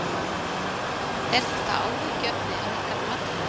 Er það áhyggjuefni að ykkar mati?